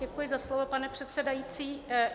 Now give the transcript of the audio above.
Děkuji za slovo, pane předsedající.